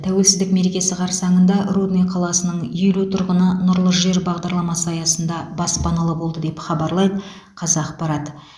тәуелсіздік мерекесі қарсаңында рудный қаласының елу тұрғыны нұрлы жер бағдарламасы аясында баспаналы болды деп хабарлайды қазақпарат